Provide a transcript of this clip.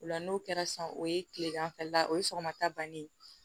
O la n'o kɛra sisan o ye tilegan fɛla o ye sɔgɔmata banni ye